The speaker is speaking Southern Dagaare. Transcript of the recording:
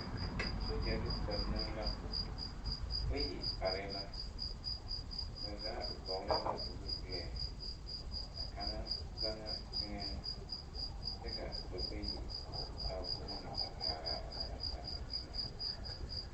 Sogyɛre banuu la bayi arɛɛ la ba zaa vɔgle la zupile a kaŋa gaŋ la teŋɛ kyɛ ka ba bayi a vuune a kaara onɔŋ naŋ gaŋ a teŋɛ.